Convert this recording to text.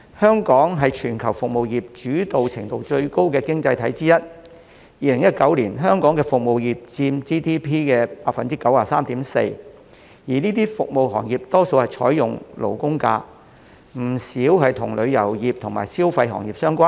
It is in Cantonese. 香港是全球服務業主導程度最高的經濟體之一，在2019年，香港服務業佔 GDP 的 93.4%， 而這些服務業大多採用"勞工假"，當中不少與旅遊業和消費行業相關。